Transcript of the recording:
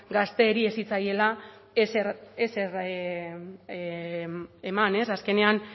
gazteei ez zitzaiela ezer eman azkenean